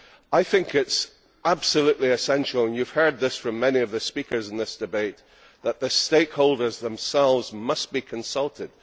I think it is absolutely essential and you have heard this from many of the speakers in this debate that the stakeholders themselves must be consulted.